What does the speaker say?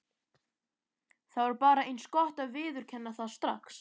Það var bara eins gott að viðurkenna það strax.